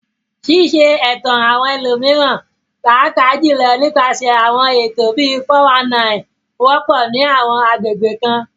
Ṣíṣe ẹ̀tàn àwọn ẹlòmíràn, pàápàá jùlọ nípasẹ̀ àwọn ètò bíi "419," wọ́pọ̀ ní àwọn agbègbè kan.